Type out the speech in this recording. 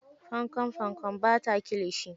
Fankam-fankam, bata kilishi.